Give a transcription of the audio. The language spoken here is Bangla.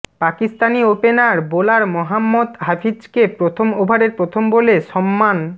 পাকিস্তানি ওপেনার বোলার মোহাম্মদ হাফিজকে প্রথম ওভারের প্রথম বলে সম্মান